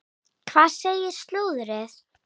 Hvað segir slúðrið?